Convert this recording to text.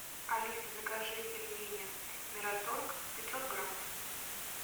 алиса закажи пельмени мираторг пятьсот граммов